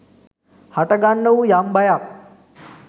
හටගන්නා වූ යම් බයක්